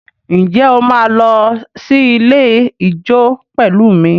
Ǹjẹ́ o máa lọ sí ilé ijó pẹ̀lú mi?